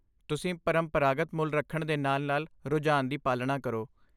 ਤੁਸੀਂ ਪਰੰਪਰਾਗਤ ਮੁੱਲ ਰੱਖਣ ਦੇ ਨਾਲ ਨਾਲ ਰੁਝਾਨ ਦੀ ਪਾਲਣਾ ਕਰੋ